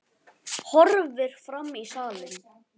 Horfir fram í salinn.